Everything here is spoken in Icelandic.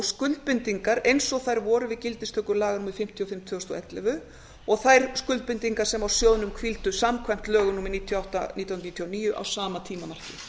skuldbindingar eins og þær voru við gildistöku laga númer fimmtíu og fimm tvö þúsund og ellefu og þær skuldbindingar sem á sjóðnum hvíldu samkvæmt lögum númer níutíu og átta nítján hundruð níutíu og níu á sama tímamarki